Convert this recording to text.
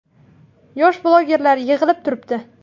Yosh blogerlar yig‘ilib turibdi.